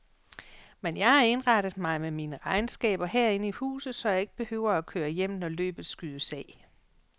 Men jeg har indrettet mig med mine regnskaber herinde i huset, så jeg ikke behøver at køre hjem, når løbet skydes af.